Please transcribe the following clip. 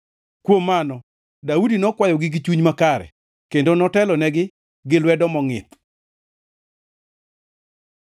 Kuom mano Daudi nokwayogi gi chuny makare kendo notelonegi, gi lwedo mongʼith.